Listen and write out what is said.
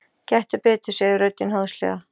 Gettu betur, segir röddin háðslega.